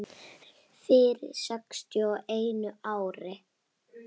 Fyrir sextíu og einu ári.